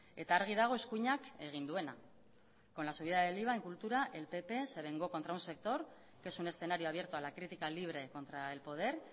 eta argi dago eskuinak egin duena con la subida del iva en cultura el pp se vengó contra un sector que es un escenario abierto a la crítica libre contra el poder